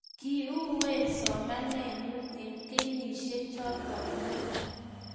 Kii uueen somanen nyuu eng kenyisiek choto muut